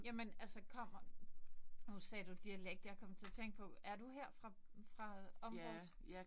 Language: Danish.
Jamen altså kommer nu sagde du dialekt jeg kom til at tænke på er du her fra fra området?